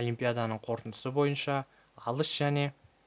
олимпиаданың қорытындысы бойынша алыс және